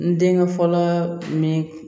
N denkɛ fɔlɔ min